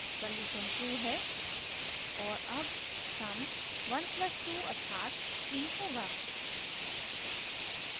condition true है और अब sum 1 + 2 अर्थात 3 होगा